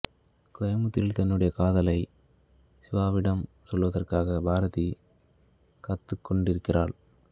கோயமுத்தூரில் தன்னுடைய காதலை சிவாவிடம் சொல்வதற்காகப் பாரதி காத்துக் கொண்டிருக்கிறாள்